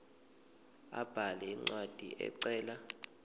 abhale incwadi ecela